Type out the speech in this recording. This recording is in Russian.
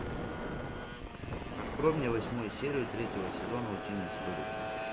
открой мне восьмую серию третьего сезона утиные истории